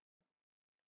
Og lofaði því.